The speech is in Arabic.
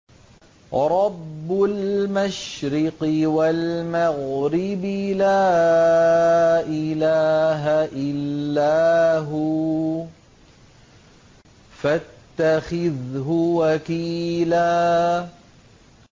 رَّبُّ الْمَشْرِقِ وَالْمَغْرِبِ لَا إِلَٰهَ إِلَّا هُوَ فَاتَّخِذْهُ وَكِيلًا